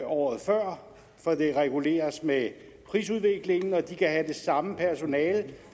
året før for det reguleres med prisudviklingen og de kan have det samme personale